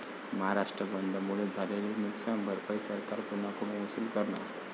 महाराष्ट्र बंदमुळे झालेली नुकसान भरपाई सरकार कोणाकडून वसूल करणार?